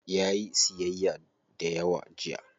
Yayi siyyaya dayawa jiya.